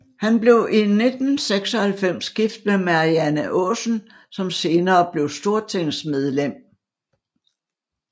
Han blev i 1996 gift med Marianne Aasen som senere blev stortingsmedlem